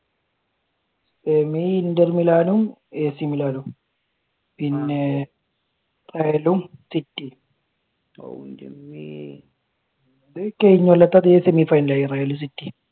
semi inter milan ഉം ac milan ഉം പിന്നെ real ഉം city